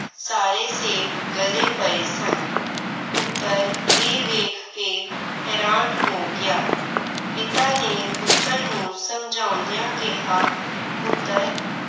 ਸਾਰੇ ਸੇਬ ਗਲੇ ਪਏ ਸਨ। ਪੁੱਤਰ ਇਹ ਵੇਖ ਕੇ ਹੈਰਾਨ ਹੋ ਗਿਆ। ਪਿਤਾ ਨੇ ਪੁੱਤਰ ਨੂੰ ਸਮਝਾਉਂਦਿਆਂ ਕਿਹਾ ਪੁੱਤਰ